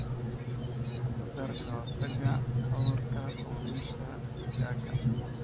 Ku dar ka-hortagga cudurka quudinta digaagga.